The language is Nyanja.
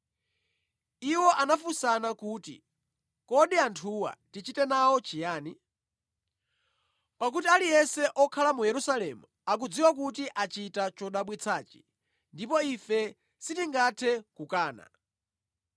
Iwo anafunsana kuti, “Kodi anthuwa tichite nawo chiyani? Pakuti aliyense okhala mu Yerusalemu akudziwa kuti achita chodabwitsachi, ndipo ife sitingathe kukana.